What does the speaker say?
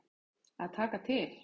Að taka til.